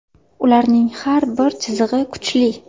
Ularning har bir chizig‘i kuchli.